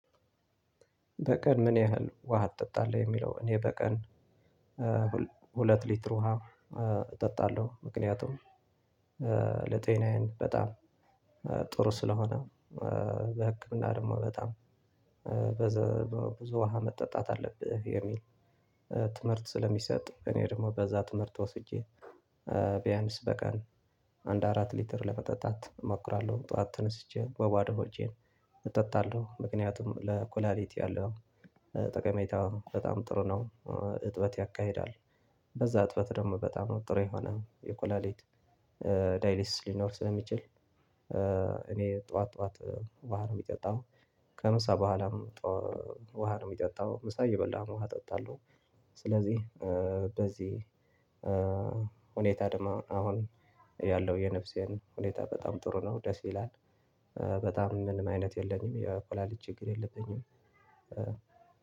በቀን ምን ያህል ውሃ ትጠጣለህ የሚለው እኔ በቀን ሁለት ሊትር ውሃ እጠጣለሁ ምክንያቱም ለጤናዬን በጣም ጥሩ ስለሆነ በህክምና ደግሞ በጣም በዘ ብዙ ውሃ መጠጣት አለብህ የሚል ትምህርት ስለሚሰጥ እኔ ደግሞ በዛ ትምህርት ወስጄ ቢያንስ በቀን አንድ አራት ሊትር ለመጠጣት እሞክራለው ጡዋት ተነስቼ በባዶ ሆጄን እጠጣለው ምክንያቱም ለኩላሌት ያለው ጠቀሜታ በጣም ጥሩ ነው እጥበት ያካሂዳል። በዛ እጥበት ደግሞ በጣም ጥሩ የሆነ የኩላሊት ዳይሊስ ሊኖር ስለሚችል እኔ ጡዋት ጡዋት ውሃ ነው የሚጠጣው። ከምሳ ቦኋላም ውሃ ነው የሚጠጣው ምሳ እየበላህም ውሃ እጠጣለው ስለዚህ በዚህ ሁኔታ ደግሞ አሁን ያለው የነፍሴን ሁኔታ በጣም ጥሩ ነው ደስ ይላል። በጣም ምንም አይነት የለኝም የኩላሊት ችግር የለብኝም።